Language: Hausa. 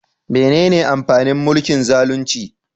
Menene amfanin mulkin zalunci?